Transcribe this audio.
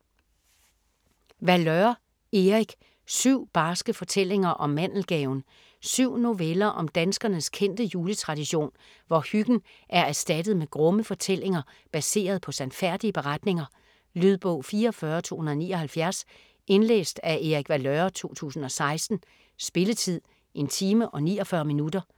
Valeur, Erik: Syv barske fortællinger om mandelgaven 7 noveller om danskernes kendte juletradition, hvor hyggen er erstattet med grumme fortællinger, baseret på sandfærdige beretninger. Lydbog 44279 Indlæst af Erik Valeur, 2016. Spilletid: 1 time, 49 minutter.